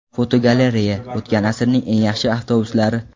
Fotogalereya: O‘tgan asrning eng yaxshi avtobuslari.